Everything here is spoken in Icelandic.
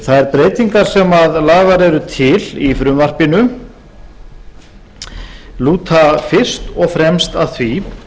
þær breytingar sem lagðar eru til í frumvarpinu lúta fyrst og fremst að því